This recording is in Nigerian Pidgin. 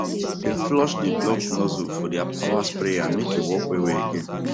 dem flush dey blocked nozzle for deir power sprayer make e work well well again